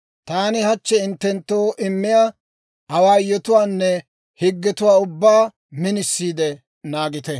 taani hachchi hinttenttoo immiyaa awaayotuwaanne higgetuwaa ubbaa minisiide naagite.